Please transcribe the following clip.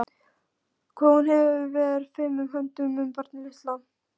Hvað hún fer fimum höndum um barnið litla.